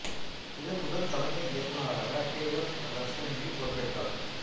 இதன் முதல் தலைமை இயக்குநராக கே எஃப் ரஸ்டம்ஜி பொறுப்பேற்றார்